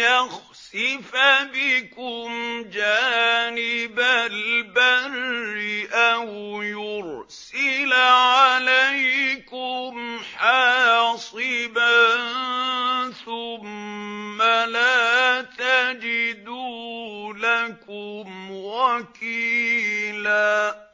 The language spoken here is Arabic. يَخْسِفَ بِكُمْ جَانِبَ الْبَرِّ أَوْ يُرْسِلَ عَلَيْكُمْ حَاصِبًا ثُمَّ لَا تَجِدُوا لَكُمْ وَكِيلًا